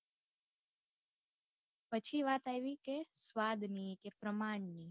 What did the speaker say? પછી વાત આવી કે સ્વાદ ની કે પ્રમાણ ની